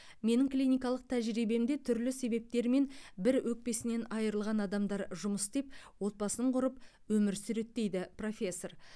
менің клиникалық тәжірибемде түрлі себептермен бір өкпесінен айрылған адамдар жұмыс істеп отбасын құрып өмір сүреді дейді профессор